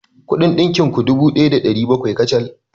Kuɗin ɗinkin ku dubu ɗaya da ɗari bakwai kacal.